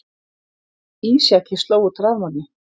Ísjaki sló út rafmagni